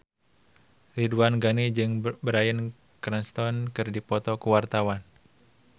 Ridwan Ghani jeung Bryan Cranston keur dipoto ku wartawan